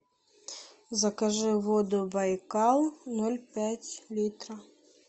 закажи воду байкал ноль пять литра